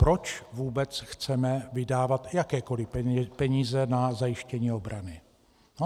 Proč vůbec chceme vydávat jakékoliv peníze na zajištění obrany?